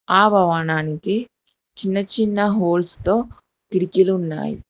ఆ భవనానికి చిన్న చిన్న హోల్స్ తో కిటికీలు ఉన్నాయి.